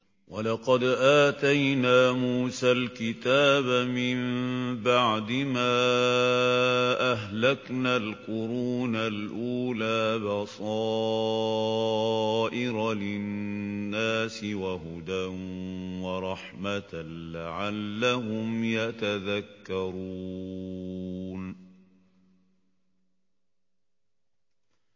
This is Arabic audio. وَلَقَدْ آتَيْنَا مُوسَى الْكِتَابَ مِن بَعْدِ مَا أَهْلَكْنَا الْقُرُونَ الْأُولَىٰ بَصَائِرَ لِلنَّاسِ وَهُدًى وَرَحْمَةً لَّعَلَّهُمْ يَتَذَكَّرُونَ